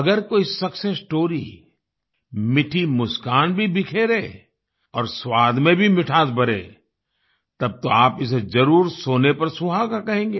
अगर कोई success story मीठी मुस्कान भी बिखेरे और स्वाद में भी मिठास भरे तब तो आप इसे जरुर सोने पर सुहागा कहेंगे